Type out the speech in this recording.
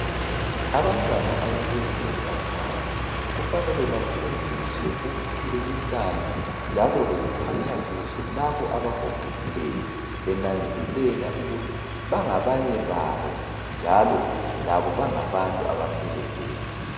Abantwana abasezingeni laphansi kufanele bafundiswe ukukhulumisana njalo lokuphathwa kuhle labo abagogekileyo benanzelela ukuthi bangabanye babo njalo labo bangabantu abapheleleyo